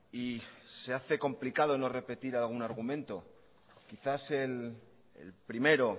y se hace complicado no repetir algún argumento quizás el primero